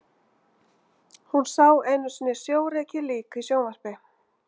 Hún sá einu sinni sjórekið lík í sjónvarpi.